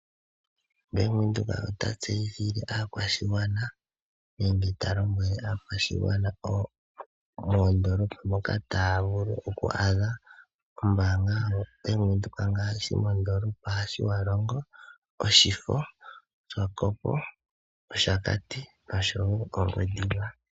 Ombanga yaVenduka otayi tseyithile aakwashigwana mpoka taya vulu oku adha ombanga ndjika yaVenduka ngaashi mondoolopa yaTjiwarongo, Opuwo, Oshifo, oSwakopo, Oshakati nOngwediva.